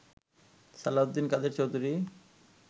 Salauddin Quader Chowdhury